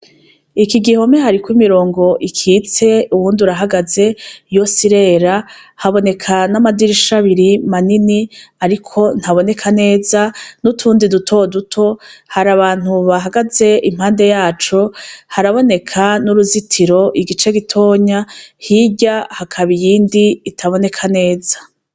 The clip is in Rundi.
Iki gihome hariko imirongo icitse uwundi urahagaze yose irera, haboneka n'amadirisha biri ariko ntaboneka neza n'utundi duto duto, har'abantu bahagaze impande yacu haraboneka n'uruzitiro igice gitonya hirya hakaba iyindi itaboneka neza.